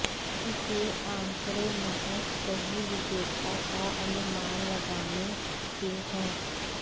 यह आंकड़े महज सही विजेता का अनुमान लगाने के हैं